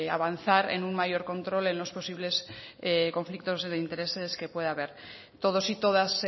avanzar en un mayor control en los posibles conflictos de intereses que pueda haber todos y todas